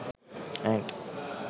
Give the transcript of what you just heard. ant